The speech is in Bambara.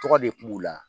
Tɔgɔ de kun b'u la